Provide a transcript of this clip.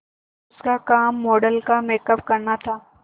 उसका काम मॉडल का मेकअप करना था